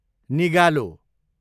निगालो